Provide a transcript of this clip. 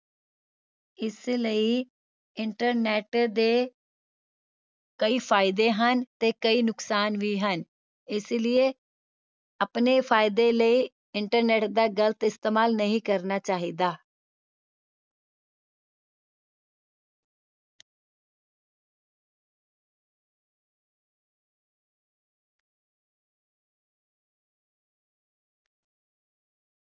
ਇਸ ਲਈ internet ਦੇ ਕਈ ਫਾਇਦੇ ਹਨ ਤੇ ਕਈ ਨੁਕਸਾਨ ਵੀ ਹਨ ਇਸੇ ਲੀਯੇ ਆਪਣੇ ਫਾਇਦੇ ਲਈ internet ਦਾ ਗ਼ਲਤ ਇਸਤੇਮਾਲ ਨਹੀਂ ਕਰਨਾ ਚਾਹੀਦਾ